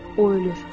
O ölür.